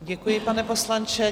Děkuji, pane poslanče.